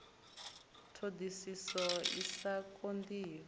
ṱhoḓisiso i sa konḓi ya